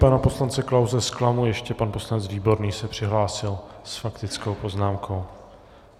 Pana poslance Klause zklamu, ještě pan poslanec Výborný se přihlásil s faktickou poznámkou.